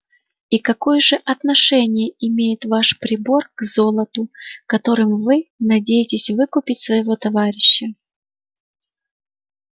и какое же отношение имеет ваш прибор к золоту которым вы надеетесь выкупить своего товарища